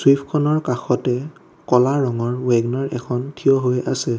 চুইফটখনৰ কাষতে ক'লা ৰঙৰ ৱেগনাৰ এখন থিয় হৈ আছে।